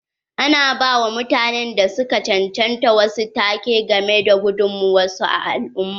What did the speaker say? Ana ba wa mutanen da su ka chanchanta wasu take ga me da gudummawar su a al'umma.